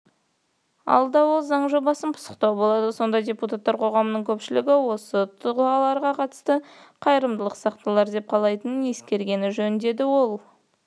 алда ол заң жобасын пысықтау болады сонда депутаттар қоғамның көпшілігі осы тұлғаларға қатысты қайырымдылық сақталар деп қалайтынын ескергені жөн деді ол